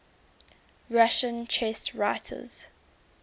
russian chess writers